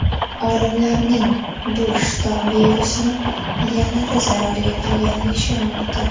Olimlarning bu shtamm virusni yanada zararli qilganiga ishonmoqda.